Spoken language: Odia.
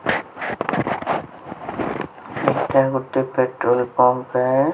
ଏଟା ଗୁଟେ ପେଟ୍ରୋଲ ପମ୍ପ ହେ।